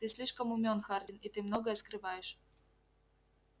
ты слишком умён хардин и ты многое скрываешь